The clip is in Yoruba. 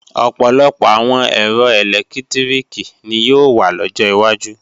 Ọ̀pọ̀lọpọ̀ àwọn ẹ̀rọ ẹ̀lẹ́tíríkì ni yóò wà lọ́jọ wájú